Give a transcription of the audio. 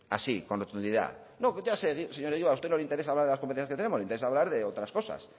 así con rotundidad no si ya sé señor egibar a usted no le interesa hablar de las competencias que tenemos le interesa hablar de otras cosas